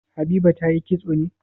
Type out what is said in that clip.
Habiba ta yi kitso ne?